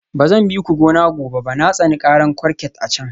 Ba zan bi ku gona gobe ba, na tsani karar kurket a can